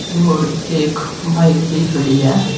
और एक बाइक भी खड़ी है।